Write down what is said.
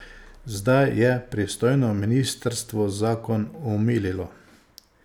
Zdaj je pristojno ministrstvo zakon omililo.